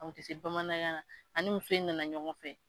A kun ti se bamanankan na ani muso in nana ɲɔgɔn fɛ